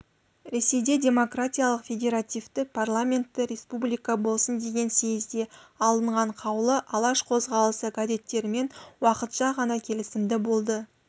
ресейде демократиялық федеративті парламентті республика болсын деген съезде алынған қаулы алаш қозғалысы кадеттермен уақытша ғана келісімді болды